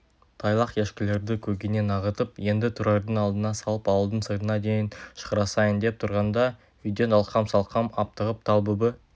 тайлақ ешкілерді көгеннен ағытып енді тұрардың алдына салып ауылдың сыртына дейін шығарысайын деп тұрғанда үйден алқам-салқам аптығып талбүбі